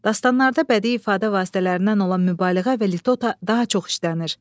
Dastanlarda bədii ifadə vasitələrindən olan mübaliğə və litota daha çox işlənir.